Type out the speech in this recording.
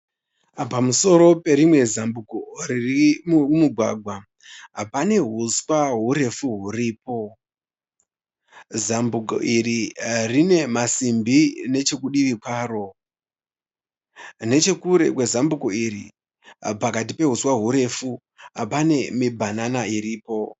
Pamusoro perimwe zambuko riri mumugwagwa pane uswa hurefu huripo. Zambuko iri rine masimbi nechekudivi kwaro. Nechekure kwezambuko iri pakati peuswa hurefu pane mibhanana iripo.